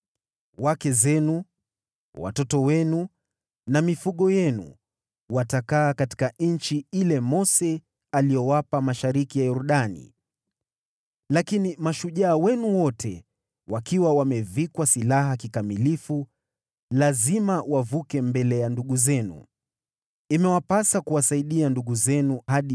Wake zenu, watoto wenu na mifugo yenu watakaa katika nchi ile Mose aliyowapa mashariki ya Yordani, lakini mashujaa wenu wote, wakiwa wamevikwa silaha kikamilifu lazima wavuke mbele ya ndugu zenu. Imewapasa kuwasaidia ndugu zenu hadi